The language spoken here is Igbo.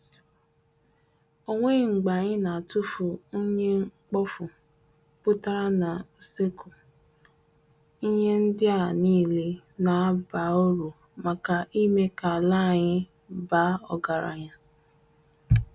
Ọ nweghi mgbe anyị na-atụfu unyi mkpofu putara na useku, ihe ndi a niile na-aba uru maka ime ka ala anyị baa ọgaranya.